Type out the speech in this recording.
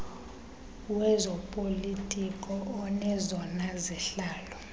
wezopolitiko onezona zihlalo